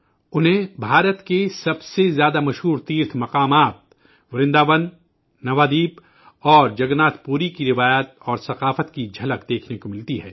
انہیں بھارت کے سب سے زیادہ معروف مقدس مقامات ورنداون، نوادیپ اور جگن ناتھ پوری کی روایت اور ثقافت کی جھلک دیکھنے کو ملتی ہے